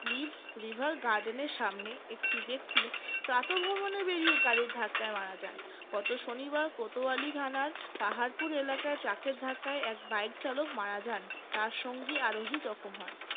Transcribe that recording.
riv river garden এর সামনে একটি ব্যক্তি প্রাত ভ্রমণে বেরিয়ে গাড়ির ধাক্কায় মারা যান গত শনিবার কোতোয়ালি থানার পাহাড়পুর এলাকার এক truck এর ধাক্কায় এক bike চালক মারা যান তার সঙ্গে আরোহী জখম হন